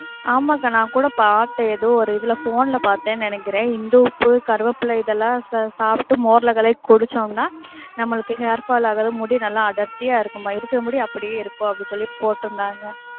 ஆமாக்கா நான்க்கூட பாத்தேன், ஏதோ ஒரு இதுல, phone ல பாத்தேன்னு நெனைக்கிறேன். இந்துப்பு கறிவேப்பிலை, இதுலாம் சாப்ட்டு மோர்ல கலக்கி குடிச்சோம்னா நமளுக்கு hairfall ஆகாது, முடி நல்ல அடர்த்தியா இருக்குமாம், இருக்குற முடி அப்படியே இருக்கும் அப்படின்னு சொல்லி போட்டு இருந்தாங்க.